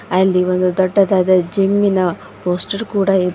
ಅಲ್ಲಿ ಒಂದು ದೊಡ್ಡದಾದ ಜಿಮ್ಮಿನ ಪೋಸ್ಟರ್ ಕೂಡ ಇ --